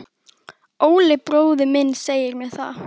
Valur: Óli bróðir minn segir mér það.